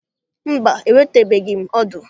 Mba, enwetabeghị m ọdụ.